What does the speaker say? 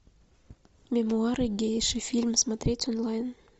мемуары гейши фильм смотреть онлайн